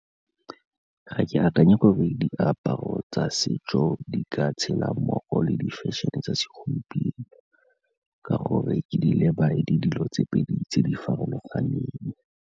Ga e akanye gore diaparo tsa setso di ka tshela mmogo le di-fashion-e tsa segompieno ka gore ke di leba e le dilo tse pedi tse di farologaneng.